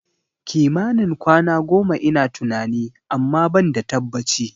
Kimanin kwana goma ina tunani, amma ban da tabbaci